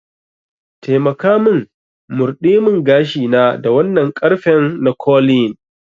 Taimaka min murdemingashina da wannan ƙarfen na curlying.